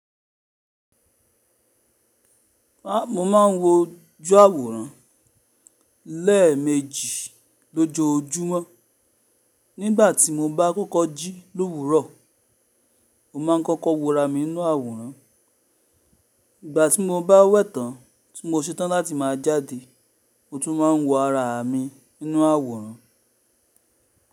A mo máa ń wo jú àwòrán lẹ́ẹ̀mejì lójoojúmọ́. Nígbà tí mo bá kọ́kọ́ jí lówúrọ̀, mo máa kọ́kọ́ wora mi n inú àwòrán. Ìgbà tí mo bá wẹ̀tán tí mo ṣẹtán láti máa jáde, mo tún máa ń wo ara mi ninú àwòrán.